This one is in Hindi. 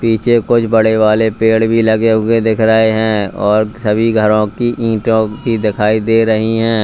नीचे कोई बड़े वाले पेड़ भी लगे हुए दिख रहे और सभी घरों की ईंटो की दिखाई दे रही है।